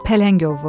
Pələng ovu.